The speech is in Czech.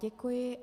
Děkuji.